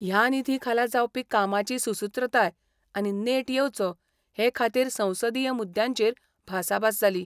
ह्या निधी खाला जावपी कामाची सुसुत्रताय आनी नेट येवचो हे खातीर संसदीय मुद्यांचेर भासाभास जाली.